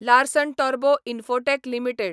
Larsen Toubro Infotech limited